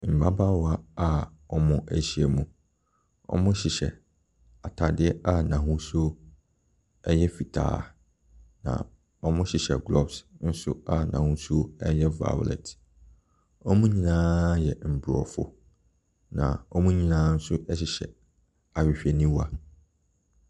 Mmabaawa a wɔahyia mu, wɔ hyehyɛ ataadeɛ a n'ahosuo ɛyɛ fitaa na wɔhyehyɛ gloves a n'ahosuo ɛyɛ violet. Wɔn nyinaa yɛ mmrɔfo na wɔn nyinaa nso hyɛ ahwehwɛniwa.